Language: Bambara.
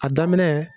A daminɛ